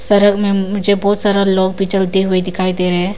सड़क में मुझे बहुत सारा लोग भी चलते हुए दिखाई दे रहे हैं।